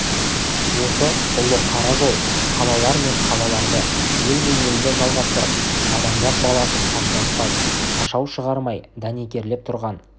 осы ұлы қара жол қалалар мен қалаларды ел мен елді жалғастырып адамзат баласын шашыратпай шашау шығармай дәнекерлеп тұрған